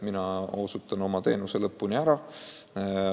Mina teen oma töö vanas kohas lõpuni ära.